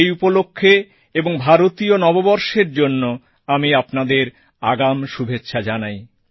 সেই উপলক্ষে ও ভারতীয় নববর্ষের জন্য আমি আপনাদের আগাম শুভেচ্ছা জানাই